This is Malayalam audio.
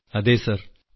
മൻസൂർ ജിഅതെ സർ